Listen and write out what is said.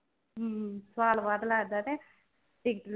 ਹਮ ਸਾਲ ਬਾਅਦ ਲੱਗਦਾ ਤੇ ticket